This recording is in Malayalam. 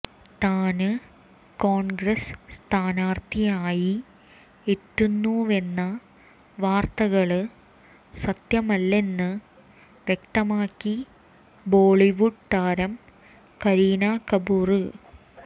താന് കോണ്ഗ്രസ് സ്ഥാനാര്ത്ഥിയായി എത്തുന്നുവെന്ന വാര്ത്തകള് സത്യമല്ലെന്ന് വ്യക്തമാക്കി ബോളിവുഡ് താരം കരീന കപൂര്